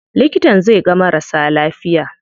Likitan zai ga marasa lafiya.